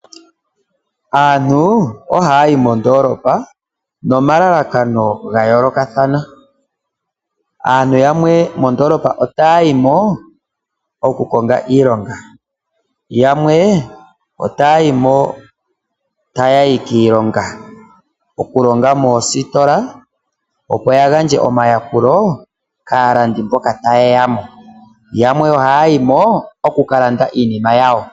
Aantu ohaya yi mondoolopa nomalalakano ga yoolokathana. Aantu yamwe mondoolopa otaya yi mo oku ka konga iilonga, yamwe otaya yi mo taya yi kiilonga; okulonga moositola, opo ya gandje oomayakulo kaalandi mboka taye ya mo yo yamwe ohaya yi mo oku ka landa iinima yawo.